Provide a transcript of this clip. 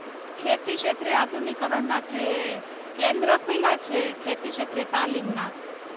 ખેતી ક્ષેત્રે આધુનિકરણ ના જે કેન્દ્ર ખુલ્યા છે ખેતી ક્ષેત્રે તાલીમના.